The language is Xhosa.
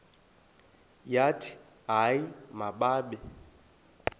bathi hayi mababe